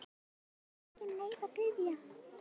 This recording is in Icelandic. En honum var engin leið að biðja.